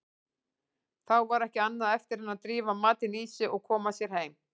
Þá var ekki annað eftir en drífa matinn í sig og koma sér heim.